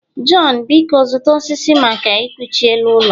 Jonh, biko zụta osisi maka ekuchi elu ụlọ